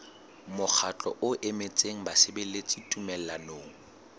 mokgatlo o emetseng basebeletsi tumellanong